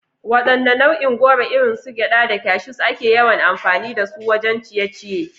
Wadanne nau'in goro, irin su gyada da cashews, ake yawan amfani da su wajen ciye-ciye?